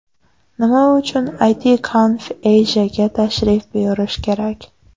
Nima uchun ItConf.Asia’ga tashrif buyurish kerak?